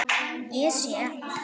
Ég sé.